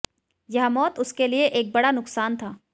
यह मौत उसके लिए एक बड़ा नुकसान था